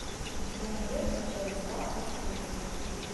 у тебя найдется часть два острые козырьки